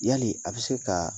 Yali a bi se ka